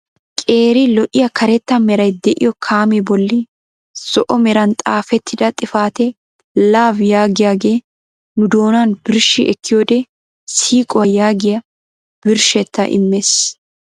Qeeri lo"iyaa karetta meray de'iyo kaamee bolli zo'o meran xaafettida xifatee "LOVE" yaagiyaage nu doonan birshshi ekkiyoode siiquwaa yaagiyaa birshshettaa immees.